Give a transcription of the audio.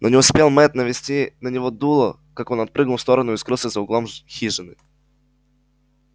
но не успел мэтт навести на него дуло как он отпрыгнул в сторону и скрылся за углом хижины